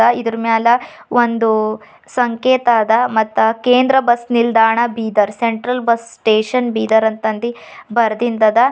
ಇದರ್ ಮ್ಯಾಲ ಒಂದು ಸಂಕೇತ ಆದ ಕೇಂದ್ರ ಬಸ್ ನಿಲ್ದಾಣ Bidar central bus station Bidar ಅಂತ ಅಂದಿ ಬರ್ದಿನ್ದದ.